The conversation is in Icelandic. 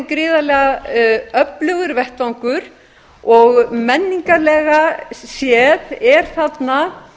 gríðarlega öflugur vettvangur og menningarlega séð er þarna